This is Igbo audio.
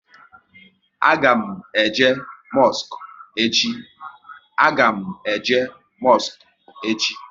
A ga m eje mosku echi